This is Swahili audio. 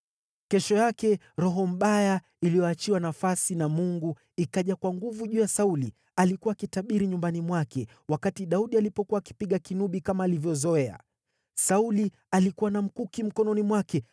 Kesho yake roho mbaya iliyoachiwa nafasi na Mungu ikaja kwa nguvu juu ya Sauli. Alikuwa akitabiri nyumbani mwake, wakati Daudi alikuwa akipiga kinubi, kama alivyozoea. Sauli alikuwa na mkuki mkononi mwake;